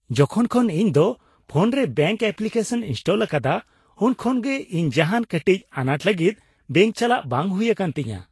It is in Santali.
ᱡᱚᱠᱷᱚᱱ ᱠᱷᱚᱱ ᱤᱧ ᱫᱚ ᱯᱷᱳᱱ ᱨᱮ ᱵᱮᱝᱠ ᱮᱯᱞᱤᱠᱮᱥᱚᱱᱤᱧ ᱤᱱᱥᱴᱚᱞ ᱟᱠᱟᱫᱟ, ᱩᱱ ᱠᱷᱚᱱ ᱜᱮ ᱤᱧ ᱡᱟᱦᱟᱱ ᱠᱟᱹᱴᱤᱡ ᱟᱱᱟᱴ ᱞᱟᱹᱜᱤᱫ ᱵᱮᱝᱠ ᱪᱟᱞᱟᱜ ᱵᱟᱝ ᱦᱩᱭ ᱟᱠᱟᱱ ᱛᱤᱧᱟ ᱾